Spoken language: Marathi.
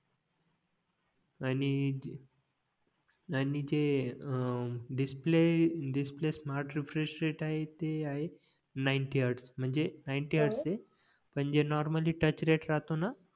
आणि आणि जे um display display smart refresh rate आहे ते आहे नाईंटी हॅर्डस म्हणजे नाईंटी हॅर्डस म्हणजे नॉर्मली टच रेट राहतो ना